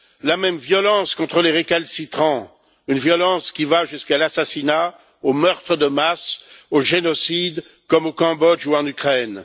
la même violence contre les récalcitrants, une violence qui va jusqu'à l'assassinat, au meurtre de masse, au génocide, comme au Cambodge ou en Ukraine.